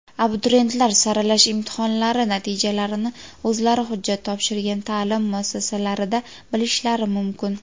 Abituriyentlar saralash imtihonlari natijalarini o‘zlari hujjat topshirgan taʼlim muassasalarida bilishlari mumkin.